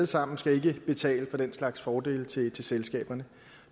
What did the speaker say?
sammen skal ikke betale for den slags fordele til selskaberne